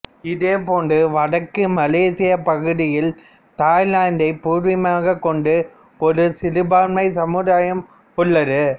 இதே போன்று வடக்கு மலேசியப் பகுதியில் தாய்லாந்தைப் பூர்வீகமாகக் கொண்ட ஒரு சிறுபான்மை சமுதாயமும் உள்ளது